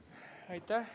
Head kolleegid!